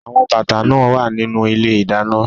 Awon bata naa wa ninu ile-idana